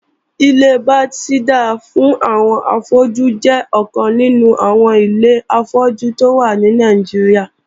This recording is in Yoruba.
Ilé Bethesda fún àwọn afọ́jú jẹ́ ọkàn nínú àwọn ilé afọ́jú tó wà ní Nàìjíríà